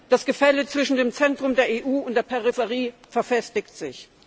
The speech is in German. Das Gefälle zwischen dem Zentrum der EU und der Peripherie verfestigt sich.